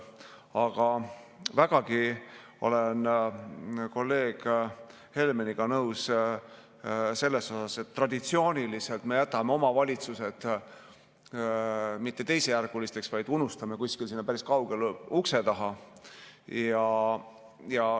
Aga vägagi olen kolleeg Helmeniga nõus selles, et traditsiooniliselt me mitte ainult ei jäta omavalitsusi teisejärgulisteks, vaid unustame kuskile sinna päris kaugele ukse taha.